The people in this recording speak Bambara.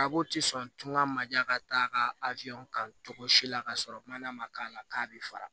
Arabu ti sɔn tunga ma diya ka taa ka kan cogo si la ka sɔrɔ mana ma k'a la k'a bɛ fara